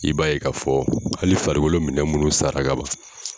I b'a ye ka fɔ hali farikolo minɛn minnu sara ka ban